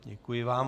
Děkuji vám.